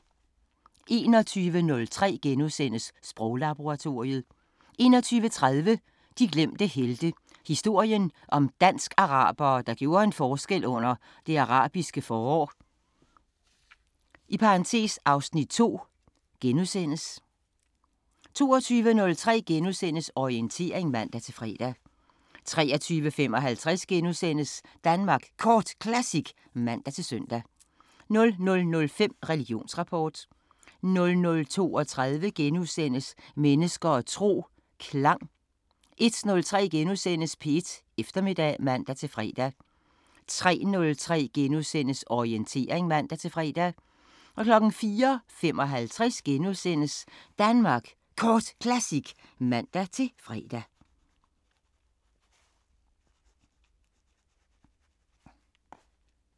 21:03: Sproglaboratoriet * 21:30: De glemte helte – historien om dansk-arabere, der gjorde en forskel under Det Arabiske forår (Afs. 2)* 22:03: Orientering *(man-fre) 23:55: Danmark Kort Classic *(man-søn) 00:05: Religionsrapport 00:32: Mennesker og tro: Klang * 01:03: P1 Eftermiddag *(man-fre) 03:03: Orientering *(man-fre) 04:55: Danmark Kort Classic *(man-fre)